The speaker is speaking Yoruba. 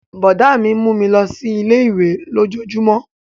Brọ̀dá mi mú mi lọ sí ilé-ìwé lójojúmó